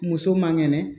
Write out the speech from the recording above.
Muso man kɛnɛ